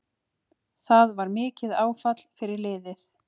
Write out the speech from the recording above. Það var mikið áfall fyrir liðið